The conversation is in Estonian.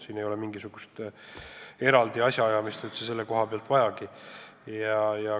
Siin ei ole mingisugust eraldi asjaajamist sel puhul vajagi.